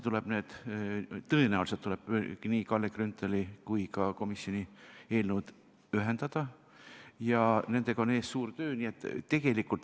Tõenäoliselt tuleb nii Kalle Grünthali kui ka komisjoni eelnõud ühendada ja nendega on ees suur töö.